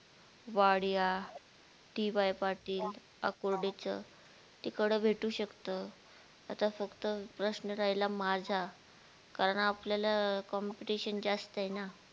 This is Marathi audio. वाडिया डी वाय पाटील अकुर्डीच तिकडं भेटू शकत आता फक्त प्रश्न राहिला माझा कारण आपल्याला competition जास्तय ना